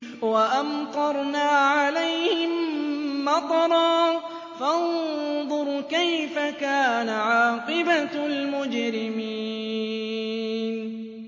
وَأَمْطَرْنَا عَلَيْهِم مَّطَرًا ۖ فَانظُرْ كَيْفَ كَانَ عَاقِبَةُ الْمُجْرِمِينَ